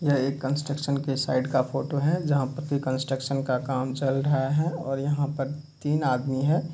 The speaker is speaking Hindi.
यह एक कन्स्ट्रक्शन के साइट का फोटो है जहाँ पर कोई कन्स्ट्रक्शन का काम चल रहा है ओर यहाँ पर तीन आदमी है |